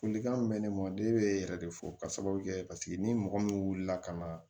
Folikan min bɛ ne ma ne bɛ yɛrɛ de fɔ ka sababu kɛ paseke ni mɔgɔ min wulila ka na